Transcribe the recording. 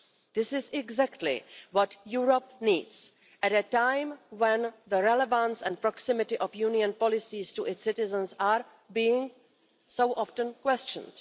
This is exactly what Europe needs at a time when the relevance and proximity of Union policies to its citizens are being so often questioned.